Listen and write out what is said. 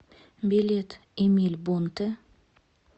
билет эмиль бонтэ